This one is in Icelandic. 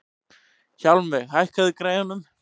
Hjálmveig, hækkaðu í græjunum.